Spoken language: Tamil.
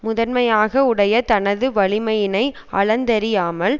முதன்மையாக உடைய தனது வலிமையினை அளந்தறியாமல்